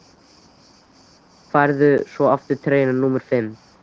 Færðu svo aftur treyjuna númer fimm?